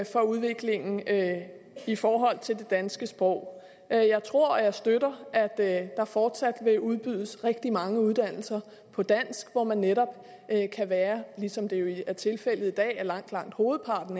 for udviklingen i forhold til det danske sprog jeg jeg tror og jeg støtter at der fortsat vil udbydes rigtig mange uddannelser på dansk hvor man netop ligesom det jo er tilfældet i dag for langt langt hovedparten